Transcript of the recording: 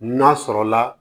N'a sɔrɔla